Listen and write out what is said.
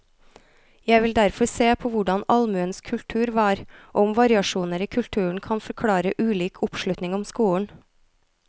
Jeg vil derfor se på hvordan allmuens kultur var, og om variasjoner i kulturen kan forklare ulik oppslutning om skolen.